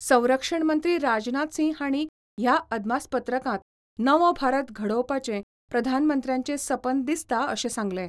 संरक्षण मंत्री राजनाथ सिंह हांणी ह्या अदमासपत्रकांत नवो भारत घडोवपाचे प्रधानमंत्र्याचे सपन दिसता अशें सांगलें.